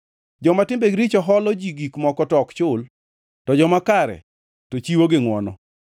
Joma timbegi richo holo ji gik moko to ok chul, to joma kare to chiwo gi ngʼwono;